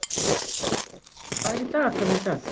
Auðberg, hvað er í dagatalinu í dag?